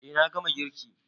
E, na gama girki.